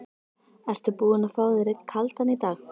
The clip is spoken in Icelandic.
Ertu búinn að fá þér einn kaldan í dag?